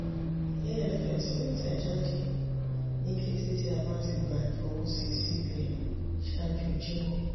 afs yoo tẹjade ni kete ti a ba ti gba ifọwọsi cbn ṣaaju jimọ.